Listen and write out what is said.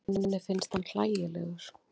Henni finnst hann hlægilegur.